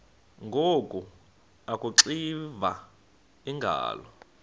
ngoku akuxiva iingalo